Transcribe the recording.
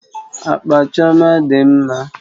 Akpa Chioma dị mma